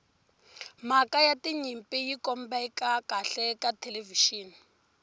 mhaka ya tinyimpi yi kombeka kahle ka thelevixini